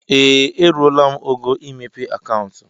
Ee! Eruola m ógo imepe akauntu.